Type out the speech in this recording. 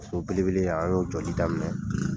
So bele bele in an y'o jɔdi daminɛ!